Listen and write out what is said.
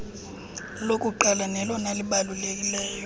lokuqalo nelona libalulekileyo